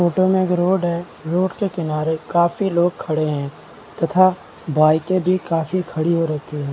Photo मे एक road है रोड के किनारे काफी लोग खड़े है तथा बाइके भी काफी खड़ी हो रही है।